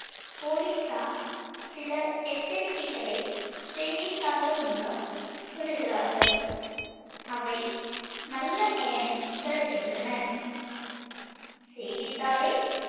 போலீசார் சில எச்சரிக்கைகளைச் செய்தித்தாள்கள் மூலம் விடுகிறார்கள். அவை நல்ல பயனைத் தருகின்றன. செய்திதாளை